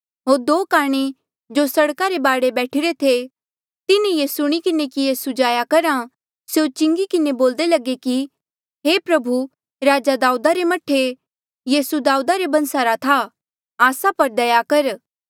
होर दो काणे जो सड़का रे बाढे बैठिरे थे तिन्हें ये सुणी किन्हें कि यीसू जाया करहा स्यों चिंगी किन्हें बोल्दे लगे कि हे प्रभु राजा दाऊदा रे मह्ठे यीसू दाऊदा रे बंसा रा था आस्सा पर दया कर